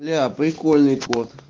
бля прикольный кот